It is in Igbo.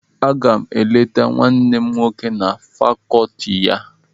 Aga m eleta nwanne m nwoke na fàkọọtị ya.